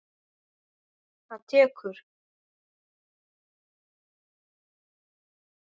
Það tekur